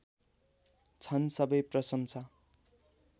छन् सबै प्रशंसा